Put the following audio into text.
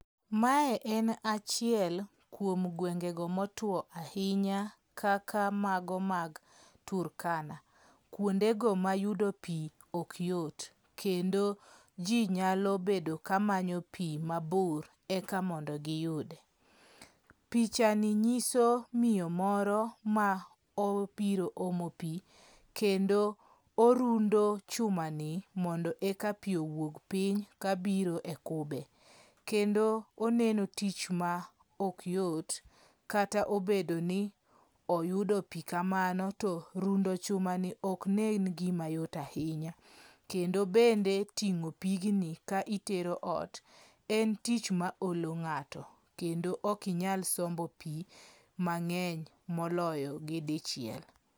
Mae en achiel kuom guenge go motwo ahinya kaka mago mag Turkana. Kuondego mayudo pi ok yot. Kendo ji nyalo bedo kamanyo pi mabor eka mondo giyude. Pichani nyiso miyo moro ma obiro omo pi. Kendo orundo chumani mondo eka pi owuog piny kabiro e kube. Kendo oneno tich ma ok yot, kata obedo ni oyudo pi kamano to rundo chumani ok nen gima yot ahinya. Kendo bende ting'o pigni ka itero ot en tich maolo ng'ato. Kendo ok inyal sombo pi mang'eny moloyo gi dichiel.